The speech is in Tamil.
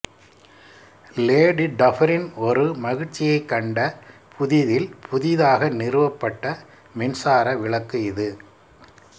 லேடி டஃபெரின் ஒரு மகிழ்ச்சியைக் கண்ட புதிதில் புதிதாக நிறுவப்பட்ட மின்சார விளக்கு இது